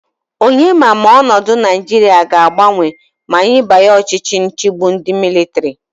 Onye ma Ma onodu naijiria aga agbanwe ma anyi banye Ochichi nchigbu ndi militari?